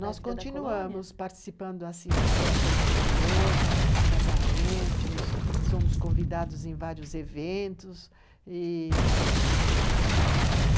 Nós continuamos participando das festas da colônia, casamentos, somos convidados em vários eventos e, ah,